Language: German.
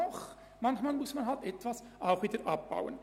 Doch, manchmal muss man auch wieder etwas abbauen.